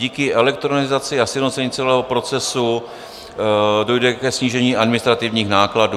Díky elektronizaci a sjednocení celého procesu dojde ke snížení administrativních nákladů.